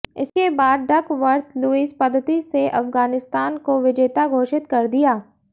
इसके बाद Duckworth Lewis पद्धति से अफगानिस्तान को विजेता घोषित कर दिया